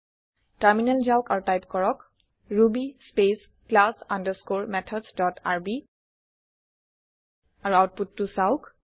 terminal যাওক আৰু type কৰক Ruby space class underscore methods dot RB আৰু আওতপুতটো চাওঁক